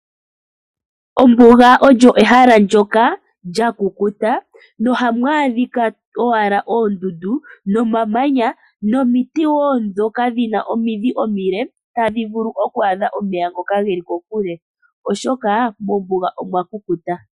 Ombuga olyo ehala ndyoka lya kukuta no hamu adhika owala oondundu nomamanya nomiti wo ndhoka dhi na omidhi omile tadhi vulu okwa adha omeya ngoka geli kokule oshoka mombuga omwa kukuta.